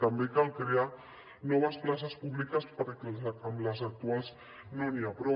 també cal crear noves places públiques perquè amb les actuals no n’hi ha prou